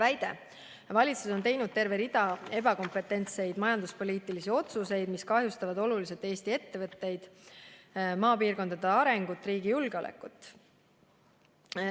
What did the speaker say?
Väidate, et valitsus on teinud terve rea ebakompetentseid majanduspoliitilisi otsuseid, mis kahjustavad oluliselt Eesti ettevõtteid, maapiirkondade arengut ja riigi julgeolekut.